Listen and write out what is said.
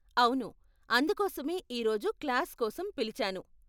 అవును, అందుకోసమే ఈ రోజు క్లాస్ కోసం పిలిచాను.